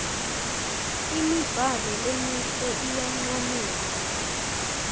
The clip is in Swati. imibhalo lemihle iyancomeka